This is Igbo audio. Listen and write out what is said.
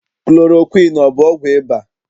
Klorokwiini ọ bụ ọgwụ ịba?